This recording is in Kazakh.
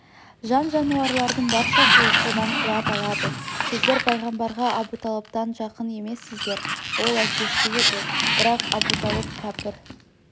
жан-жануарлардың баршасы содан қуат алады сіздер пайғамбарға абуталыптан жақын емессіздер ол әкесі еді бірақ абуталып кәпір